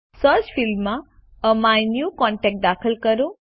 search ફિલ્ડમાં એમીન્યુકોન્ટેક્ટ દાખલ કરો